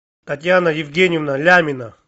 татьяна евгеньевна лямина